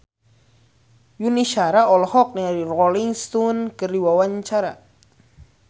Yuni Shara olohok ningali Rolling Stone keur diwawancara